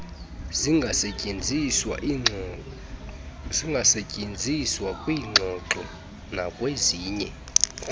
zingasetyenziswa kwiingxoxo nakwezinye